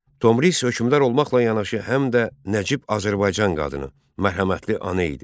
Tomris hökmdar olmaqla yanaşı həm də Nəcib Azərbaycan qadını, mərhəmətli ana idi.